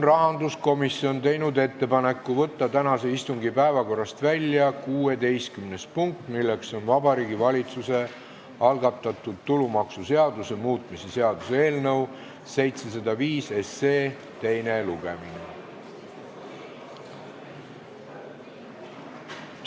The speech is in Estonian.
Rahanduskomisjon on teinud ettepaneku võtta tänase istungi päevakorrast välja 16. punkt, Vabariigi Valitsuse algatatud tulumaksuseaduse muutmise seaduse eelnõu 705 teine lugemine.